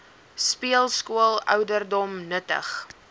speelskool ouderdom nuttig